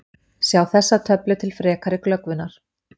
Sjá þessa töflu til frekari glöggvunar: